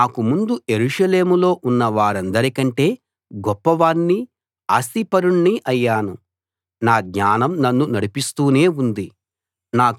నాకు ముందు యెరూషలేములో ఉన్న వారందరికంటే గొప్పవాణ్ణి ఆస్తిపరుణ్ణి అయ్యాను నా జ్ఞానం నన్ను నడిపిస్తూనే ఉంది